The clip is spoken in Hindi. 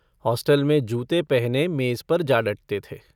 हॉस्टल में जूते पहने मेज़ पर जा डटते थे।